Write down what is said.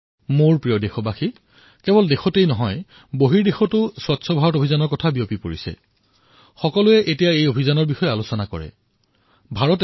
মোৰ মৰমৰ দেশবাসীসকল স্বচ্ছ ভাৰত অভিযান কেৱল দেশতেই নহয় সমগ্ৰ বিশ্বতে এক সফল কাহিনী হিচাপে প্ৰসিদ্ধ হৈছে যাৰ বিষয়ে সকলোৰে মুখে মুখে